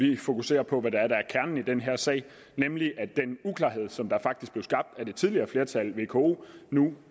vi fokuserer på hvad der er kernen i den her sag nemlig at den uklarhed som faktisk blev skabt af det tidligere flertal vko nu